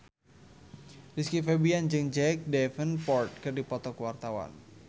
Rizky Febian jeung Jack Davenport keur dipoto ku wartawan